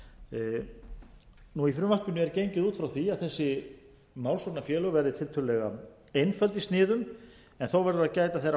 fyrir dómi í frumvarpinu er gengið út frá því að þessi málsóknarfélög verði tiltölulegaeinföld í sniðum en þó verður að gæta þeirrar